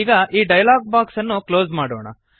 ಈಗ ಈ dialog box ಅನ್ನು ಕ್ಲೋಸ್ ಮಾಡೋಣ